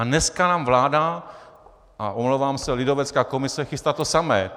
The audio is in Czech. A dneska nám vláda, a omlouvám se, lidovecká komise chystá to samé.